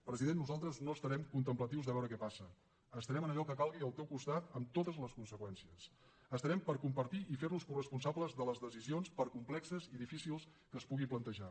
president nosaltres no estarem contemplatius de veure què passa estarem en allò que calgui al teu costat amb totes les conseqüències estarem per compartir i fer nos coresponsables de les decisions per complexes i difícils que es puguin plantejar